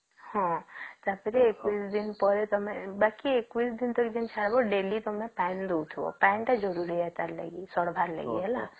ହଁ ତା ପରେ ୩ ଦିନ ପରେ ତମେ ବାକି ୨୧ ଦିନ ଧରି Daily ତମେ ପାଣୀ ଦେଉଥିବା ପାଣୀ ଟା ଜରୁରୀ ସେତ ଲାଗି ସଢିବାର ଲାଗି ହେଲା